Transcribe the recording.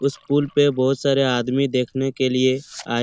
उस पूल पे बोहोत सारे आदमी देखने के लिए आए--